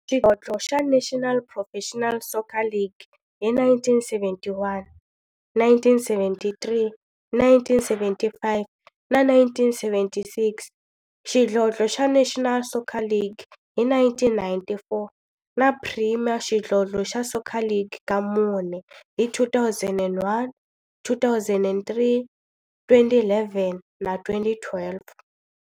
Xidlodlo xa National Professional Soccer League hi 1971, 1973, 1975 na 1976, xidlodlo xa National Soccer League hi 1994, na Premier Xidlodlo xa Soccer League ka mune, hi 2001, 2003, 2011 na 2012.